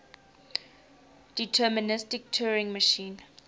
deterministic turing machine